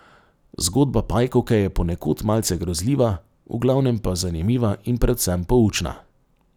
Zgodba pajkovke je ponekod malce grozljiva, v glavnem pa zanimiva in predvsem poučna.